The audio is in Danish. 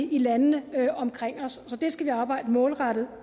i landene omkring os så det skal vi arbejde målrettet